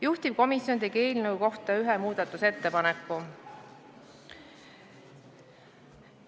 Juhtivkomisjon tegi eelnõu kohta ühe muudatusettepaneku.